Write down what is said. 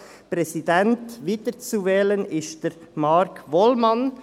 Als Präsident wiederzuwählen ist Marc Wollmann.